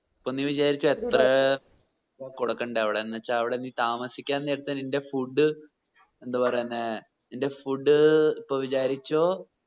ഇപ്പോ നീവിചാരിച്ചോ എത്ര കൊടുക്കണ്ടവിടെ എന്ന് വെച്ചവിടെ താമസിൻ നേരത്തു നിന്റെ food എന്തോ പറയുന്നേ നിന്റെ food ഇപ്പോ വിചാരിച്ചോ